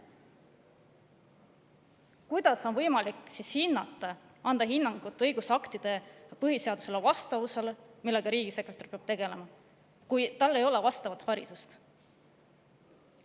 Kuidas on võimalik anda hinnangut õigusaktide vastavusele põhiseadusega – sellega peab riigisekretär tegelema –, kui tal ei ole vastavat haridust?